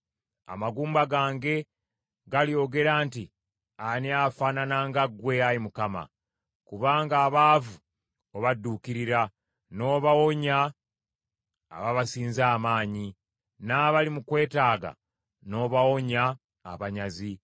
Amagumba gange galyogera nti, “Ani afaanana nga ggwe, Ayi Mukama ? Kubanga abaavu obadduukirira n’obawonya ababasinza amaanyi, n’abali mu kwetaaga n’obawonya abanyazi.”